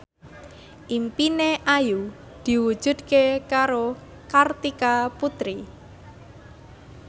impine Ayu diwujudke karo Kartika Putri